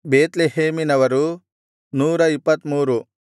ಬೇತ್ಲೆಹೇಮಿನವರು 123